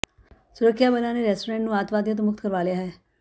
ਸੁਰੱਖਿਆ ਬਲਾਂ ਨੇ ਰੈਸਟੋਰੈਂਟ ਨੂੰ ਅੱਤਵਾਦੀਆਂ ਤੋਂ ਮੁਕਤ ਕਰਵਾ ਲਿਆ ਹੈ